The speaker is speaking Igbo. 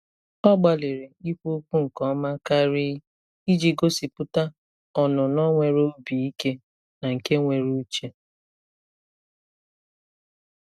Ọ gbalịrị ikwu okwu nke ọma karị iji gosipụta ọnụnọ nwere obi ike na nke nwere uche.